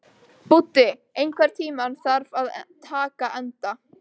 Búddi, einhvern tímann þarf allt að taka enda.